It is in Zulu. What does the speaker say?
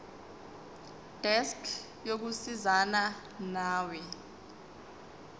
desk yokusizana nawe